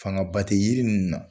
Fanga ba tɛ yiri ninnu na.